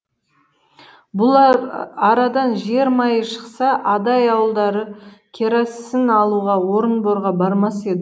бұл арадан жер майы шықса адай ауылдары керосін алуға орынборға бармас еді